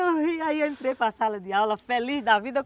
Aí eu entrei para a sala de aula feliz da vida.